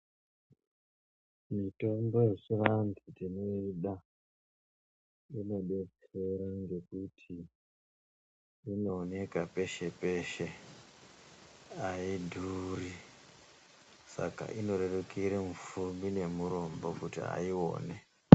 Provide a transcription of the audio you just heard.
Mitombo yechivantu ndinoida inobetsera ngekuti inooneka peshe-peshe haidhuri. Saka inorerukira mupfumi nemurombo kuti aione.